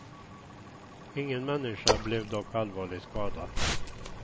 Ingen människa blev dock allvarligt skadad.